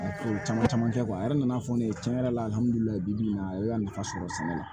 Ko caman caman kɛ a yɛrɛ nana fɔ ne ye tiɲɛ yɛrɛ la bi bi in na a ye a nafa sɔrɔ sɛnɛ la